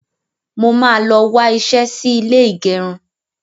Mo máa lọ wá iṣẹ́ sí ilé ìgẹrun.